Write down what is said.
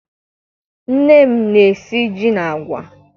Nne m na-esi ji na agwa.